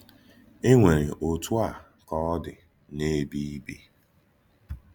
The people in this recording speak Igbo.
È nwèrè òtù a ka ọ̀ dị n’èbé ì bì.